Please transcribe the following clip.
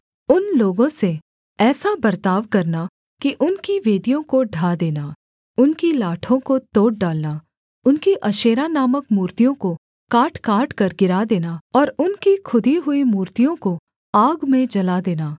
उन लोगों से ऐसा बर्ताव करना कि उनकी वेदियों को ढा देना उनकी लाठों को तोड़ डालना उनकी अशेरा नामक मूर्तियों को काट काटकर गिरा देना और उनकी खुदी हुई मूर्तियों को आग में जला देना